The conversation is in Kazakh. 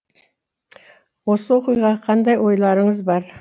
осы оқиғаға қандай ойларыңыз бар